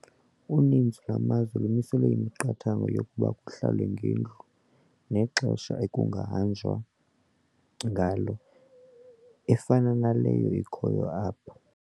Uninzi lwamazwe lumisele imiqathango yokuba kuhlalwe ngendlu nexesha ekungahanjwa ngalo efana naleyo ikhoyo ngoku apha.